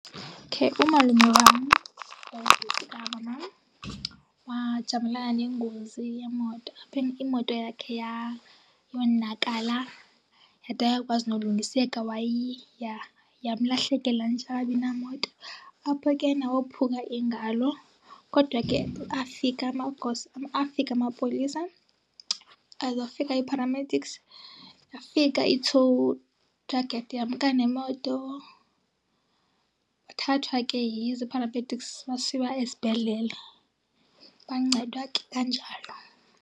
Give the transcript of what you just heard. Umalume wam kamamam, wajamelana nengozi yemoto, apho imoto yakhe yonakala yade ayakwazi nolungiseka, yamlahlekela nje akabi namoto. Apho ke wophuka ingalo kodwa ke afika amagosa, afika amapolisa, zafika ii-paramedics, yafika i-tow truck yamka nemoto. Wathathwa ke zii-paramedics wasiwa esibhedlele. Wancedwa ke kanjalo.